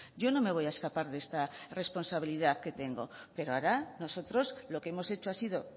yo no me voy a escapar de esta responsabilidad que tengo pero ahora nosotros lo que hemos hecho ha sido